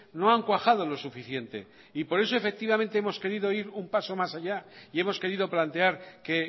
no han cuajado lo suficiente y por eso efectivamente hemos querido ir un paso más allá y hemos querido plantear que